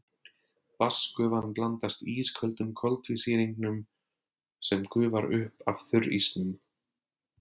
Vatnsgufan blandast ísköldum koltvísýringnum sem gufar upp af þurrísnum.